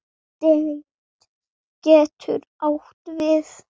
Stétt getur átt við